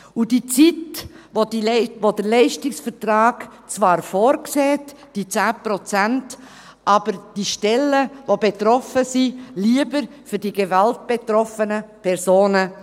Und diese Zeit, die der Leistungsvertrag zwar vorsieht, die 10 Prozent, brauchen aber diejenigen Stellen, die betroffen sind, lieber für die gewaltbetroffenen Personen.